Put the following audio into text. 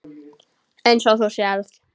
Eins og þú sérð.